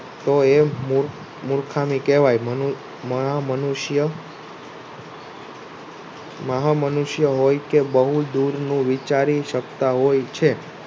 તો એ મુર્ખામી કહેવાય મહા મનુષ્ય હોઉં કે બહુ દૂરનું વિચારે સકતા હોય છે.